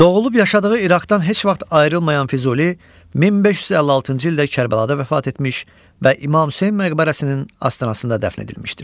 Doğulub yaşadığı İraqdan heç vaxt ayrılmayan Füzuli, 1556-cı ildə Kərbəlada vəfat etmiş və İmam Hüseyn məqbərəsinin astanasında dəfn edilmişdir.